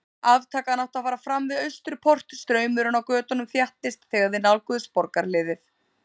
Aftakan átti að fara fram við Austurport, straumurinn á götunum þéttist þegar þeir nálguðust borgarhliðið.